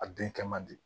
A den kɛ man di